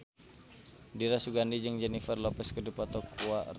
Dira Sugandi jeung Jennifer Lopez keur dipoto ku wartawan